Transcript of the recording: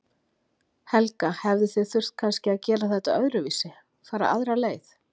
Helga: Hefðuð þið þurft kannski að gera þetta öðruvísi, fara aðra leið?